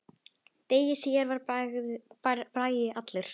Degi síðar var Bragi allur.